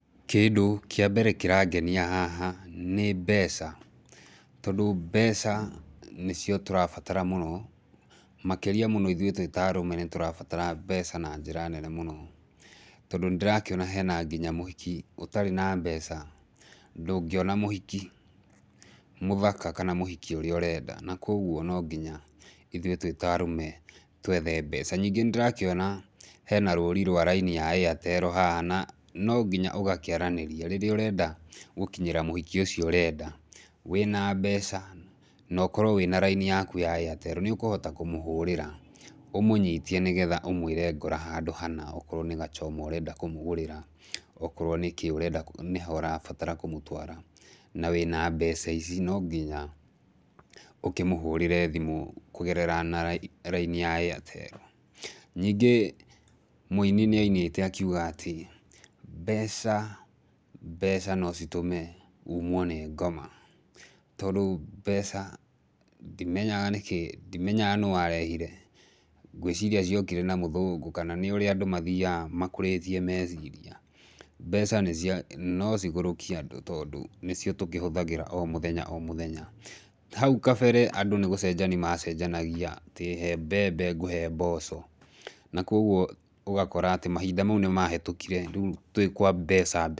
Kĩndũ kĩambere kĩrangenia haha nĩ mbeca, tondũ mbeca nĩcio tũrabatara mũno, makĩria mũno ithuĩ twĩta arũme nitũrabatara mbeca na njĩra nene mũno, tondũ nĩndĩrakĩona hena nginya mũhiki. Ũtarĩ na mbeca ndũgĩona mũhiki mũthaka kana mũhiki ũrĩa ũrenda, na koguo no nginya ithuĩ twĩ ta arũme twethe mbeca. Ningĩ nĩ ndĩrakĩona hena rũrĩ rwa raini ya Airtel haha na no nginya ũgakĩaranĩria, rĩrĩa ũrenda gũkinyĩra mũhiki ũcio ũrenda wĩna mbeca na ũkorwo wĩna raini yaku ya Airtel nĩũkũhota kũmũhũrĩra, ũmũnyitie nĩgetha ũmũire ngora handũ hana okorwo nĩ ga choma ũrenda kũmũgũrĩra, okorwo nĩkĩ ũrenda, ũrabatara kũmũtwara na wĩna mbeca ici no nginya ũkĩmũhũrĩre thimũ kũgerera raini ya Airtel. Ningĩ mũini nĩ ainĩte akiuga atĩ, "Mbeca, mbeca nocitũmeumwo nĩ ngoma." Tondũ ndimega nĩkĩ, ndimenyag'a nũ warehire ngũiciria ciokire na mũthũngũ kana nĩ ũrĩa andũ mathiaga makũrĩtie meciria. Mbeca no cigũrũkie andũ tondũ nĩcio tũhũthagĩra o mũthenya o mũthenya. Hau kabere andũ nĩ gũcenjania macenjanagia atĩ, "He mbembe ngũhe mboco." Na kogwo ũgakora atĩ mahinda mau nihĩtũkire, rĩu twĩ kwa mbeca...